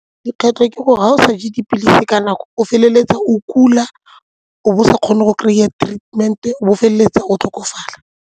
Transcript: Dikgwetlho ke gore ga o sa je dipilisi ka nako o feleletsa o kula o bo o sa kgone go kry-a treatment-e, o bo o feleletsa o tlhokofala.